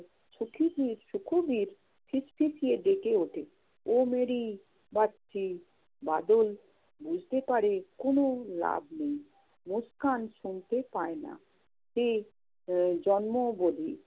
শুকুবির~ সুখবির ফিসফিসিয়ে ডেকে ওঠে, বাদল বুঝতে পারে কোন লাভ নেই, মুস্কান শুনতে পায় না। সে আহ জন্ম বধির।